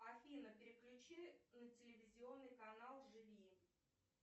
афина переключи на телевизионный канал живи